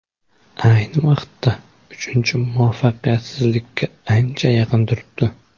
Ayni vaqtda uchinchi muvaffaqiyatsizlikka ancha yaqin turibdi.